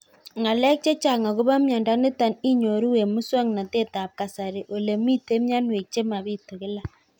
Ng'alek chechang' akopo miondo nitok inyoru eng' muswog'natet ab kasari ole mito mianwek che mapitu kila